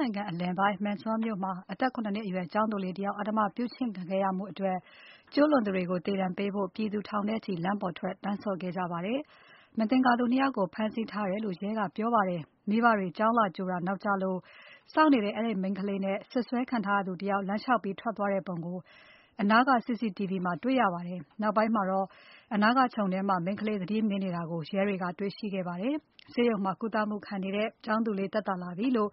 နိုင်ငံအလယ်ပိုင်း Mandsaur မြို့မှာ အသက် ၇ နှစ်အရွယ်ကျောင်သူလေး တယောက် အဓမ္မပြုကျင့်ခံရမှုအတွက် ကျူးလွန်သူတွေကို သေဒဏ် ပေးဖို့ ထောင်နဲ့ချီ လမ်းပေါ်ထွက် တောင်းဆိုခဲ့ကြပါတယ်။ မသင်္ကာသူ ၂ ယောက်ကို ဖမ်းဆီးထားတယ်လို့ ရဲကပြောပါတယ်။ မိဘတွေ ကျောင်းလာ ကြိုတာ နောက်ကျလို့စောင့်နေတဲ့ အဲဒီမိန်းကလေးနဲ့ စွပ်စွဲခံထားရ သူတယောက် လမ်းလျှောက်ပြီးထွက်သွားတဲ့ပုံကို အနားက CCTV မှာ တေ့ွရပါတယ်။ နောက်ပိုင်းမှာတော့ အနားကခြုံထဲမှာ မိန်းကလေး သတိမေ့နေတာကို ရဲကတွေ့ရှိခဲ့ပါ တယ်။ ဆေးရုံမှာ ကုသမှုခံနေတဲ့ ကျောင်းသူလေး သက်သာလာပြီလို့